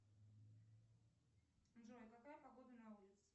джой какая погода на улице